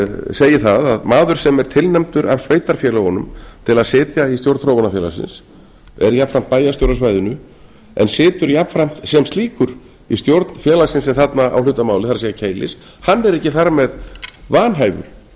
segi það að maður sem er tilnefndur af sveitarfélögunum til að sitja í stjórn þróunarfélagsins er jafnframt bæjarstjóri á svæðinu en situr jafnframt sem slíkur í stjórn félagsins sem þarna á hlut að máli það er keilis hann er ekki þar með vanhæfur